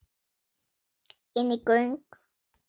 Inní göng.